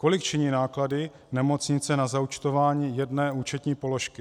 Kolik činí náklady nemocnice na zaúčtování jedné účetní položky?